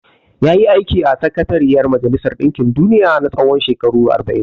Ya yi aiki a Sakatariyar Majalisar ɗinkin duniya na tsawon shekaru arba'in.